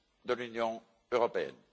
de l'Union européenne.